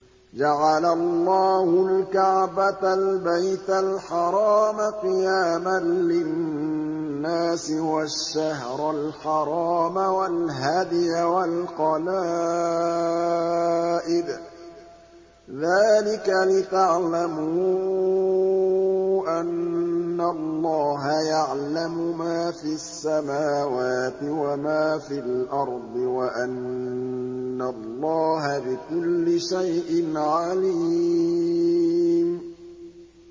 ۞ جَعَلَ اللَّهُ الْكَعْبَةَ الْبَيْتَ الْحَرَامَ قِيَامًا لِّلنَّاسِ وَالشَّهْرَ الْحَرَامَ وَالْهَدْيَ وَالْقَلَائِدَ ۚ ذَٰلِكَ لِتَعْلَمُوا أَنَّ اللَّهَ يَعْلَمُ مَا فِي السَّمَاوَاتِ وَمَا فِي الْأَرْضِ وَأَنَّ اللَّهَ بِكُلِّ شَيْءٍ عَلِيمٌ